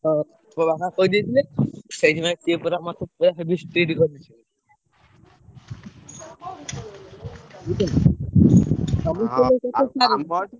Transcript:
ହଁ ମୋ ବାପା କହିଦେଇଥିଲେ ସେଇଥି ପାଇଁ ସିଏ ପୁରା ମତେ ପୁରା heavy strict କରି ଦେଇଛନ୍ତି।